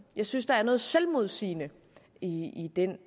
jeg synes der er noget selvmodsigende i den